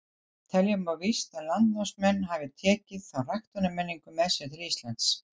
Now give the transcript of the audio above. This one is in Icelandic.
Telja má víst að landnámsmenn hafi tekið þá ræktunarmenningu með sér til Íslands.